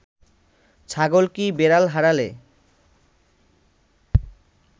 ছাগল কি বেড়াল হারালে